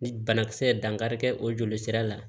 Ni banakisɛ ye dankari kɛ o joli sira la